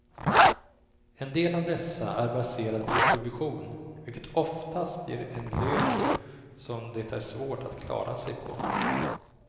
En del av dessa är baserade på provision, vilket oftast ger en lön som det är svårt att klara sig på.